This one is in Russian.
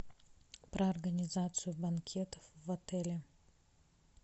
про организацию банкетов в отеле